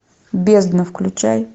бездна включай